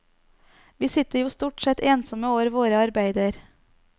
Vi sitter jo stort sett ensomme over våre arbeider.